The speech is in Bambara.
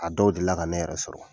A dɔw delila ka ne yɛrɛ sɔrɔ.